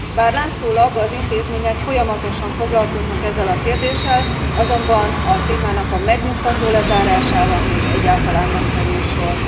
Bár látszólag az intézmények folyamatosan foglalkoznak ezzel a kérdéssel, azonban a témának a megnyugtató lezárására egyáltalán nem került sor.